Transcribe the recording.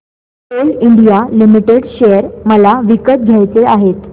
Coal India limited share मला विकत घ्यायचे आहेत